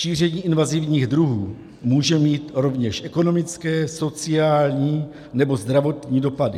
Šíření invazivních druhů může mít rovněž ekonomické, sociální nebo zdravotní dopady.